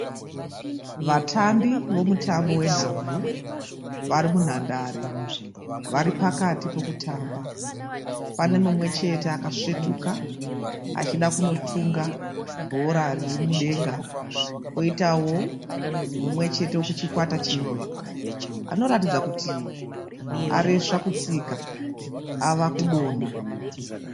Vatambi vomutambo wenhabvu vari munhandare. Vari pakati pekutamba. Pane mumwechete akasvetuka achida kunotunga bhora riri mudenga. Poitawo mumwechete wekuchikwata chimwe anoratidza kuti areswa kutsika ava kunonha.